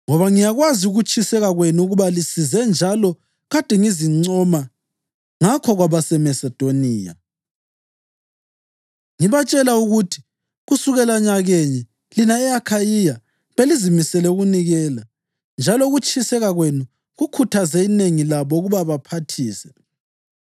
Ngoba ngiyakwazi ukutshisekela kwenu ukuba lisize njalo kade ngizincoma ngakho kwabaseMasedoniya, ngibatshela ukuthi kusukela nyakenye lina e-Akhayiya belizimisele ukunikela; njalo ukutshiseka kwenu kukhuthaze inengi labo ukuba baphathise.